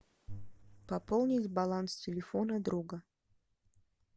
пополнить баланс телефона друга